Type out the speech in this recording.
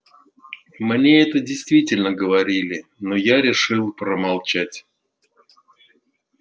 мне это действительно говорили но я решил промолчать